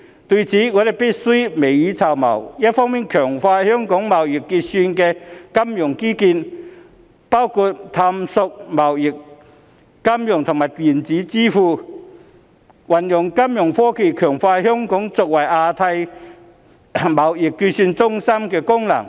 對此，我們必須未雨綢繆，一方面強化香港貿易結算的金融基建，包括探索貿易、金融和電子支付，運用金融科技強化香港作為亞太貿易結算中心的功能。